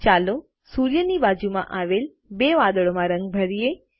ચાલો સૂર્યની બાજુમાં આવેલ બે વાદળોમાં રંગ ભરીયે